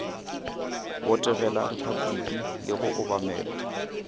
botegela repabliki le go obamela